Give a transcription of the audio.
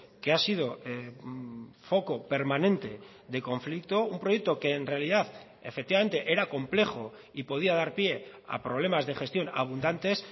que ha sido foco permanente de conflicto un proyecto que en realidad efectivamente era complejo y podía dar pie a problemas de gestión abundantes